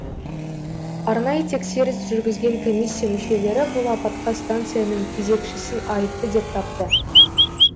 арнайы тексеріс жүргізген комиссия мүшелері бұл апатқа станцияның кезекшісін айыпты деп тапты